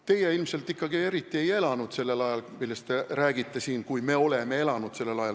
Teie ilmselt ikkagi eriti ei elanud sellel ajal, millest te siin räägite, et me oleme sellel ajal elanud.